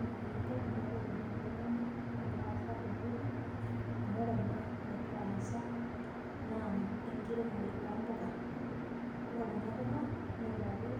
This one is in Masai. ee kaidim naji atolimu ajo kainyioo ena nagira aasa tene wueji . amu ore ena nagira aasa naa enkiremore oompuka . ore kuna puka netipikaki